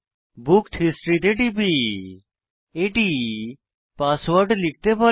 booked history তে টিপি এটি পাসওয়ার্ড লিখতে বলে